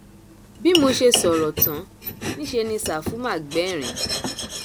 bí mo sì ṣe sọrọ tán níṣẹ ni ṣàfù má gbẹrín